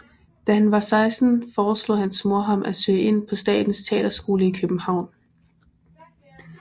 Da han var 16 foreslog hans mor ham at søge ind på Statens Teaterskole i København